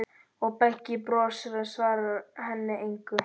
Og Beggi brosir, en svarar henni engu.